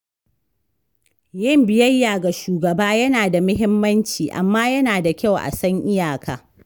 Yin biyayya ga shugaba yana da muhimmanci, amma yana da kyau a san iyaka.